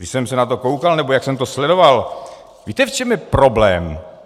Když jsem se na to koukal nebo jak jsem to sledoval, víte, v čem je problém?